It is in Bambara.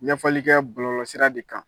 Ɲɛfɔli kɛ bɔlɔlɔsira de kan